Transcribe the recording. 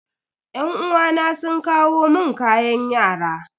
Yan uwana sun kawo mun kayan yara.